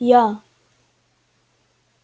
я